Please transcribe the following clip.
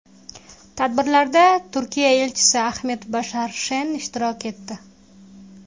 Tadbirlarda Turkiya elchisi Ahmet Bashar Sheen ishtirok etdi.